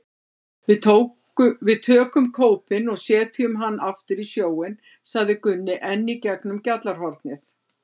Við tökum kópinn og setjum hann aftur í sjóinn, sagði Gunni enn í gegnum gjallarhornið.